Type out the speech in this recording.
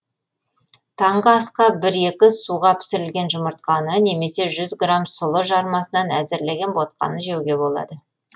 таңғы асқа бір екі суға пісірілген жұмыртқаны немесе жүз грамм сұлы жармасынан әзірленген ботқаны жеуге болады